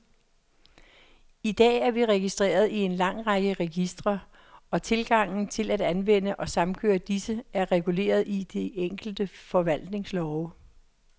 I dag er vi registreret i en lang række registre, og tilgangen til at anvende og samkøre disse, er reguleret i de enkelte forvaltningslove.